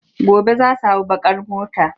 Gobe za su hau baƙ ar motar.